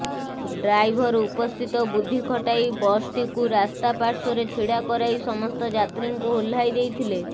driver ଉପସ୍ଥିତ ବୁଦ୍ଧି ଖଟାଇ ବସ୍ଟିକୁ ରାସ୍ତା ପାଶ୍ୱର୍ରେ ଛିଡ଼ା କରାଇ ସମସ୍ତ ଯାତ୍ରୀଙ୍କୁ ଓହ୍ଲାଇ ଦେଇଥିଲେ